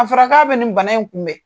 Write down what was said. A fɔra k'a bɛ nin bana in kunbɛn.